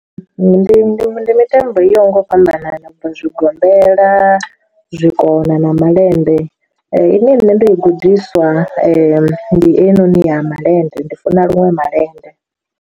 Ndi ndi mitambo i yaho nga u fhambanana na bva zwigombela zwikona na malende ine nṋe ndo i gudiswa ndi heyinoni ya malende ndi funa luṅwe malende.